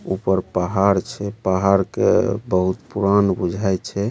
ऊपर पहाड़ छै पहाड़ के बहुत पुरान बुझाय छै।